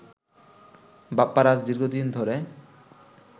বাপ্পারাজ দীর্ঘদিন ধরে